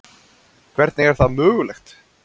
Hvernig er það mögulegt?